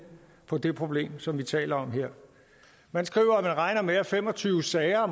på det problem som vi taler om her man skriver at man regner med at fem og tyve sager